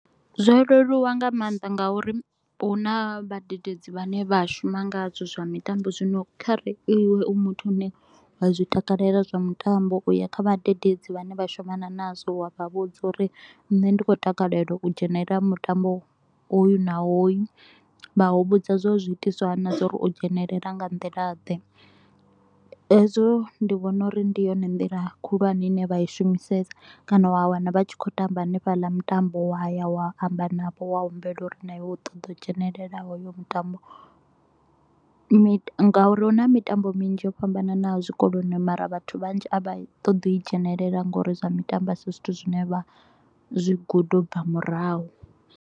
Zwo leluwa nga maanḓa ngauri hu na vhadededzi vhane vha shuma ngazwo zwa mitambo, zwino kha re iwe u muthu ane wa zwi takalela zwa mutambo, u ya kha vhadededzi vhane vha shumana nazwo, wa vha vhudza u ri nṋe ndi khou takalela u dzhenelela mutambo hoyu na hoyu. Vha u vhudza zwa u ri zwi itiswa hani na zwa u ri u dzhenelela nga nḓila ḓe. Hezwo ndi vhona uri ndi yone nḓila khulwane ine vha i shumisesa kana wa wana vha tshi kho u tamba hanefhaḽa mutambo, wa ya wa amba navho wa humbela u ri na iwe u ṱoḓa u dzhenelela hoyo mutambo, ngauri hu na mitambo minzhi yo fhambananaho zwikoloni mara vhathu vhanzhi a vha ṱoḓi u i dzhenelela nga u ri zwa mitambo a si zwithu zwine vha zwi guda u bva murahu.